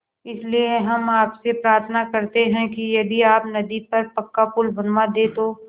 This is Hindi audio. इसलिए हम आपसे प्रार्थना करते हैं कि यदि आप नदी पर पक्का पुल बनवा दे तो